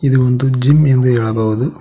ಇದು ಒಂದು ಜಿಮ್ ಎಂದು ಹೇಳಬಹುದು.